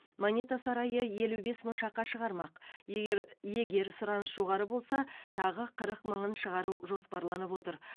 монета сарайы елу бес мың шақа шығармақ егер егер сұраныс жоғары болса тағы қырық мыңын шығару жоспарланып отыр